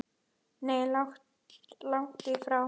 Nei, langt í frá.